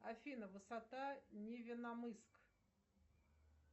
афина высота невеномыск